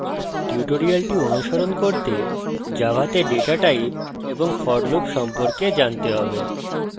tutorial অনুসরণ করতে জাভাতে ডেটা types এবং for loop সম্পর্কে জানতে have